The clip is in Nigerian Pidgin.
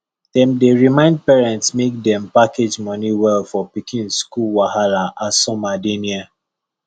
dem dey remind parents make dem package money well for pikin school wahala as summer dey near